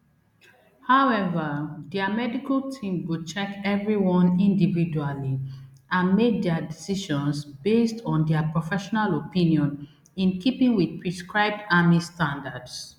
however dia medical team go check everyone individually and make dia decisions based on dia professional opinion in keeping wit prescribed army standards